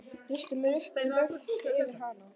Reisti mig upp og laut yfir hana.